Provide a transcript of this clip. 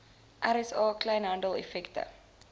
rsa kleinhandel effekte